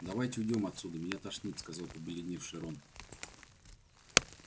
давайте уйдём отсюда меня тошнит сказал побледневший рон